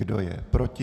Kdo je proti?